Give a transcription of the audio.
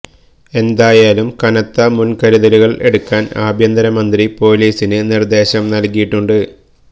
എന്തായാലും കനത്ത മുന്കരുതലുകള് എടുക്കാന് ആഭ്യന്തര മന്ത്രി പോലീസിന് നിര്ദ്ദേശം നല്കിയിട്ടുണ്ട്